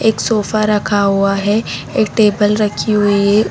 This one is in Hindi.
एक सोफा रखा हुआ है टेबल रखी हुई है।